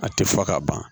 A tɛ fɔ ka ban